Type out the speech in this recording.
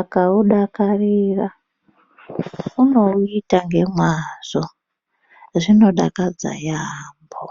akaudakarira unouita ngemwazvo zvinodakadza yamho.